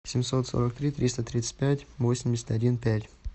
семьсот сорок три триста тридцать пять восемьдесят один пять